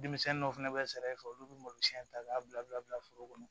Denmisɛnnin dɔw fɛnɛ bɛ sara e fɛ olu bɛ malosi ta k'a bila bila bila foro kɔnɔ